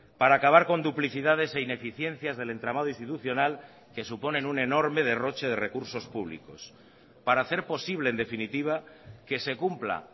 para acabar con duplicidades e ineficiencias del entramado institucional que suponen un enorme derroche de recursos públicos para hacer posible en definitiva que se cumpla